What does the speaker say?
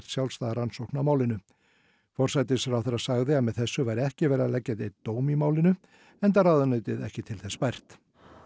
sjálfstæða rannsókn á málinu forsætisráðherra sagði að með þessu væri ekki verið að leggja neinn dóm í málinu enda ráðuneytið ekki til þess bært